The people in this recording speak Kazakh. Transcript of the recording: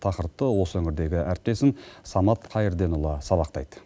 тақырыпты осы өңірдегі әріптесім самат қайырденұлы сабақтайды